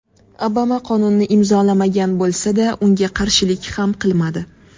Obama qonunni imzolamagan bo‘lsa-da, unga qarshilik ham qilmadi.